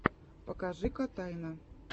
покажи котайна